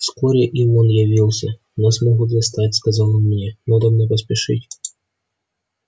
вскоре и он явился нас могут застать сказал он мне надобно поспешить